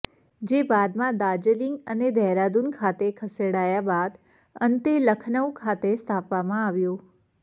જે બાદમાં દાર્જિલિંગ અને દેહરાદૂન ખાતે ખસેડાયા બાદ અંતે લખનૌ ખાતે સ્થાપવામાં આવ્યું